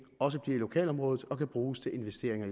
også bliver i lokalområdet og kan bruges til investeringer